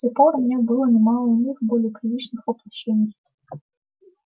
с тех пор у меня было немало иных более приличных воплощений